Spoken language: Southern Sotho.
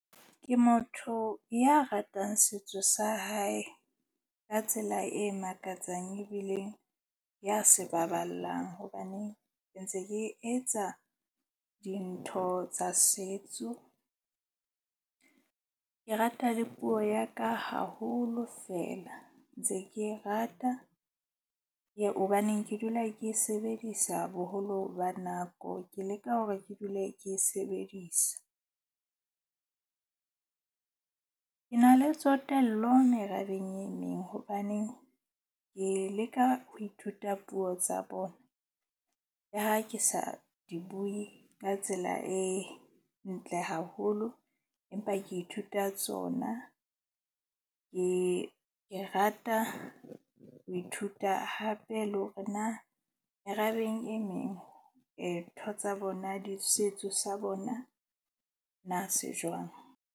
Ke motho ya ratang setso sa hae ka tsela e makatsang ebile ya se baballang. Hobaneng ke ntse ke etsa dintho tsa setso. Ke rata le puo ya ka haholo fela ntse ke rata, hobaneng ke dula ke sebedisa boholo ba nako. Ke leka hore ke dule ke e sebedisa. Ke na le tsotello merabeng e meng. Hobaneng ke leka ho ithuta puo tsa bona le ha ke sa di bue ka tsela e ntle haholo. Empa ke ithuta tsona. Ke rata ho ithuta hape le hore na merabeng e meng ntho tsa bona di setso sa bona na se jwang.